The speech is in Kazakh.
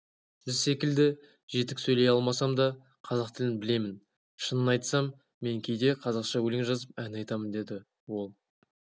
сіз секілді жетік сөйлей алмасам да қазақ тілін білемін шынын айтсам мен кейде қазақша өлең жазып ән айтамын деді ол